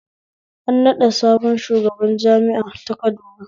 An naɓɗa sabon shugaban jami'a ta Kaduna